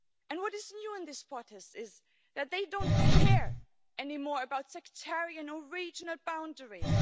What is new in this protest is that they don't care anymore about sectarian or regional boundaries.